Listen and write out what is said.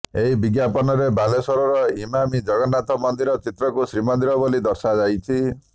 ଏହି ବିଜ୍ଞାପନରେ ବାଲେଶ୍ବରର ଇମାମି ଜଗନ୍ନାଥ ମନ୍ଦିର ଚିତ୍ରକୁ ଶ୍ରୀମନ୍ଦିର ବୋଲି ଦର୍ଶାଯାଇଛି